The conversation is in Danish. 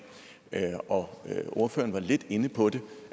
og ordføreren var lidt inde på det